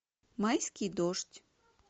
майский дождь